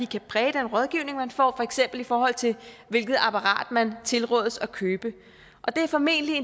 kan præge den rådgivning man får for eksempel i forhold til hvilket apparat men tilrådes at købe og det er formentlig